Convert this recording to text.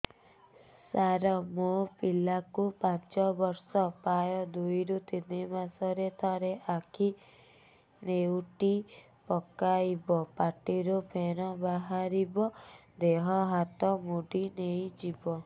ସାର ମୋ ପିଲା କୁ ପାଞ୍ଚ ବର୍ଷ ପ୍ରାୟ ଦୁଇରୁ ତିନି ମାସ ରେ ଥରେ ଆଖି ନେଉଟି ପକାଇବ ପାଟିରୁ ଫେଣ ବାହାରିବ ଦେହ ହାତ ମୋଡି ନେଇଯିବ